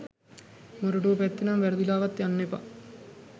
මොරටුව පැත්තෙනම් වැරදිලාවත් යන්න එපා